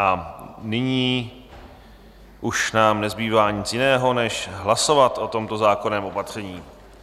A nyní už nám nezbývá nic jiného, než hlasovat o tomto zákonném opatření.